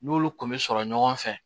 N'olu kun bɛ sɔrɔ ɲɔgɔn fɛ